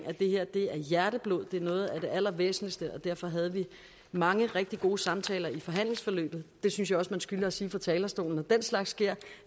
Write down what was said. at det her er hjerteblod det er noget af det allervæsentligste og derfor havde vi mange rigtig gode samtaler i forhandlingsforløbet det synes jeg også man skylder at sige fra talerstolen når den slags sker